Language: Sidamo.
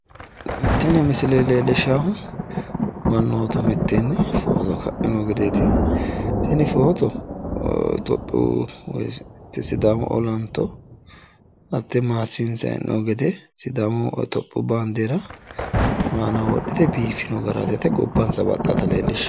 Tini misile leellishaahu mannoota mitteenni noo gedeeti. Tini footo tophiyu woyi sidaamu olanto hattee maassiinsayi hee'noyi gede sidaamu topiyu baandeera aanaho wodhite biiffino garaati yaate. Gobbansa baxxaata leellishshanno.